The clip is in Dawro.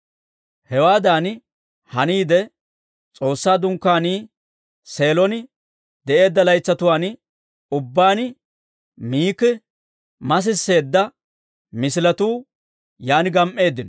Hewaadan haniide, S'oossaa Dunkkaanii Seelon de'eedda laytsatuwaan ubbaan Miki masisseedda misiletuu yaan gam"eeddino.